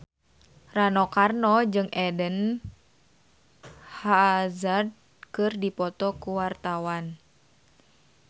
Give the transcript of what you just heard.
Rano Karno jeung Eden Hazard keur dipoto ku wartawan